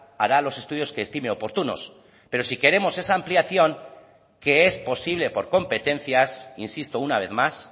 hará los estudios que estime oportunos pero sí queremos esa ampliación que es posible por competencias insisto una vez más